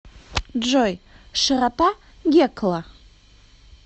джой широта гекла